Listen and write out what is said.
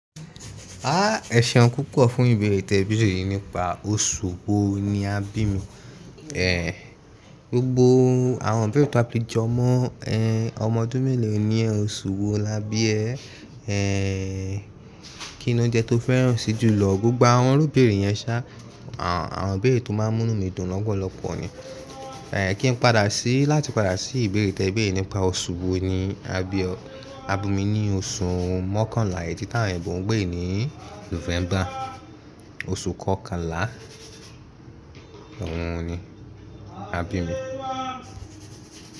Ah! Ẹṣẹun púpọ̀ fún ìbéèrè tẹ̀ bí yìí nípa oṣù wo ni a bí mi. E, gbogbo àwọn bẹ́ẹ̀ tọ́ a pé jọmọ ẹ, ọmọ ọdún mélòó ni ẹ́ oṣù wo la bí ẹ́, e, kí ni óunjẹ́ tó fẹ́ràn sí jùlọ gbogbo àwọn róbèèrè yẹn ṣá, àwọn bẹ́ẹ̀ tọ́ máa ń múnú mi dùn lọ́pọ̀lọpọ̀ ni. E, kí n padà sí láti padà sí ìbéèrè tẹ̀ bí yìí nípa oṣù wo ni a bí ọ. A bí mi ní oṣù mọ́kànlá èjìta ọdún mẹ́rin gbọ̀ǹgbọ̀ǹ ní Nùfẹ́mbà, oṣù kọ́kànlá ọrùn ni a bí mi.